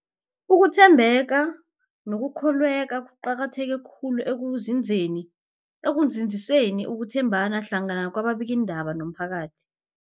Ukuthembeka nokukholweka kuqakatheke khulu ekunzinzeni ekunzinziseni ukuthembana hlangana kwababikiindaba nomphakathi.